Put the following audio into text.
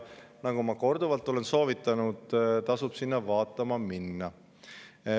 Nagu ma korduvalt olen soovitanud, tasub sinna vaatama minna.